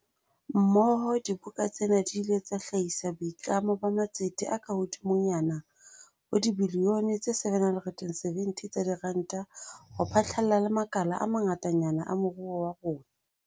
Mmoho, diboka tsena di ile tsa hlahisa boitlamo ba matsete a kahodimonyana ho dibilione tse 770 tsa diranta ho phatlalla le makala a mangatanyana a moruo wa rona.